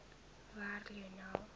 werk lionel